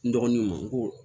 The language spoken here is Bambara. N dɔgɔninw ma n ko